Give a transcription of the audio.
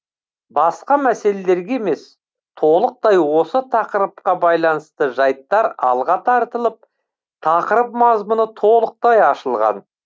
басқа мәселелерге емес толықтай осы тақырыпқа байланысты жайттар алға тартылып тақырып мазмұны толықтай ашылған